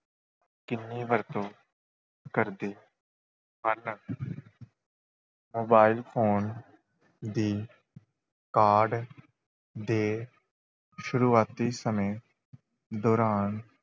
ਕਿੰਨੀ ਵਰਤੋਂ ਕਰਦੇ ਹਨ mobile phone ਦੀ ਕਾਢ ਦੇ ਸ਼ੁਰੂਆਤੀ ਸਮੇਂ ਦੌਰਾਨ,